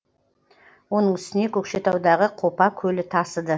оның үстіне көкшетаудағы қопа көлі тасыды